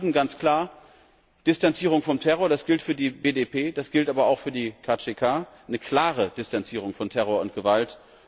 An die Kurden ganz klar Distanzierung vom Terror das gilt für die BDP, das gilt aber auch für die KCK eine klare Distanzierung von Terror und Gewalt.